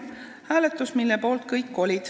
Kõik olid selle poolt.